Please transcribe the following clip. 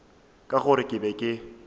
ka gore ke be ke